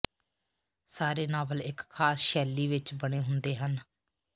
ਸਾਰੇ ਨਾਵਲ ਇੱਕ ਖਾਸ ਸ਼ੈਲੀ ਵਿੱਚ ਬਣੇ ਹੁੰਦੇ ਹਨ